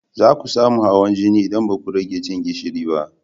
Za ku samu hawan jini in baku rage cin gishiri ba